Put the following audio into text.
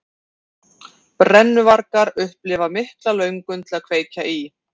Brennuvargar upplifa mikla löngun til að kveikja í.